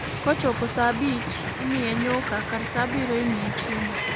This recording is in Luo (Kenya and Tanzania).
Kochopo saa abich, imiye nyuka , kar saa abiriyo imiye chiemo